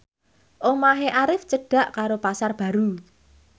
omahe Arif cedhak karo Pasar Baru